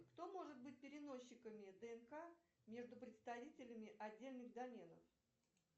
кто может быть переносчиками днк между представителями отдельных доменов